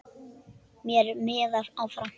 Mér miðar áfram.